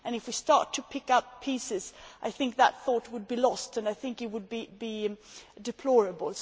If we start to pick up pieces, I think that thought would be lost and I think it would be deplorable.